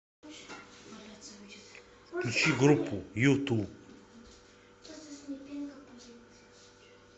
включи группу юту